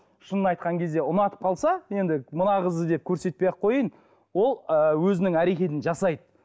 шынын айтқан кезде ұнатып қалса енді мына қызды деп көрсетпей ақ қояйын ол ы өзінің әрекетін жасайды